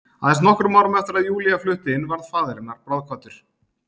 Aðeins nokkrum árum eftir að Júlía flutti inn varð faðir hennar bráðkvaddur.